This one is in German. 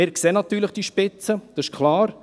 Wir sehen natürlich diese Spitze, das ist klar.